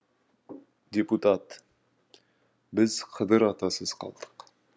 депутат біз қыдыр атасыз қалдық